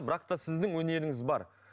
бірақ та сіздің өнеріңіз бар